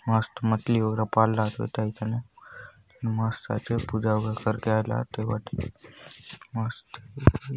मस्त मछरी वगैरा पालला सोत हय थाने मस्त आचे पूजा वगैरा करके आयला आत ए बाट मस्त --